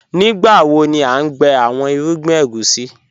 Nígbàwo ni à n gbẹ̀ awọn irúgbìn ègúsi?